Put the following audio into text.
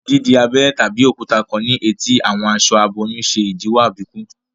Di abéré tàbí òkúta kán ní eti àwọn aṣọ aboyún ṣe idiwọ àbíkú